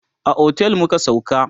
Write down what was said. a otel muka sauka